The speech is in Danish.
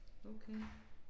Okay